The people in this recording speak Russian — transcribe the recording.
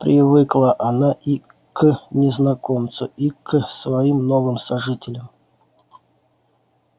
привыкла она и к незнакомцу и к своим новым сожителям